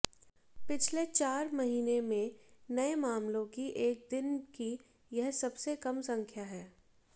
पिछले चार महीने में नए मामलों की एक दिन की यह सबसे कम संख्या है